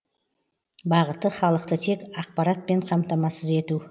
бағыты халықты тек ақпаратпен қамтамасыз ету